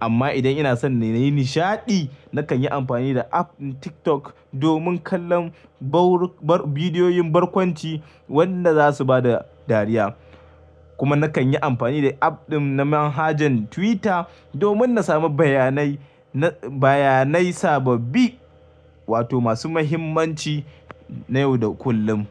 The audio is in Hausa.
Amma idan ina son na yi nishaɗi, nakan yi amfani da app ɗin TikTok, domin kallon bidiyoyin barkwanci wanda za su ba da dariya. Kuma nakan yi amfani da app ɗin na manhajan Twitter, domin na samu bayanai, bayanai sababbi wato masu muhimmanci na yau da kullum.